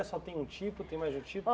Só tem um tipo? Tem mais de um tipo?